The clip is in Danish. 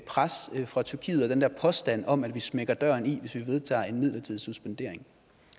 pres fra tyrkiet og den der påstand om at vi smækker døren i hvis vi vedtager en midlertidig suspendering